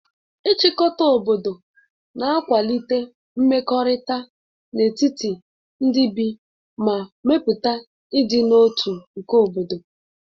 Ịchịkọta obodo na-akwalite mmekọrịta n'etiti ndị bi ma mepụta ịdị n'otu tu nke obodo.